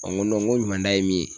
Ɔ n go nɔn n go ɲumanda ye min ye